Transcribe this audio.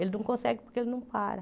Ele não consegue porque ele não para.